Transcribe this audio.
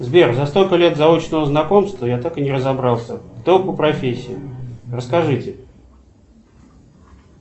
сбер за столько лет заочного знакомства я так и не разобрался кто вы по профессии расскажите